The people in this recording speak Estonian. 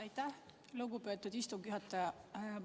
Aitäh, lugupeetud istungi juhataja!